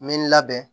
N bɛ n labɛn